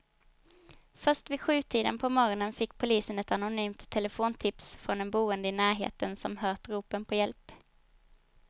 Först vid sjutiden på morgonen fick polisen ett anonymt telefontips från en boende i närheten som hört ropen på hjälp.